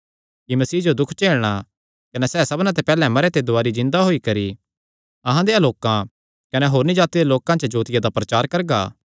कि मसीह जो दुख झेलणा कने सैह़ सबना ते पैहल्ले मरेयां ते दुवारी जिन्दा होई करी अहां देयां लोकां कने होरनी जाति दे लोकां च जोतिया दा प्रचार करगा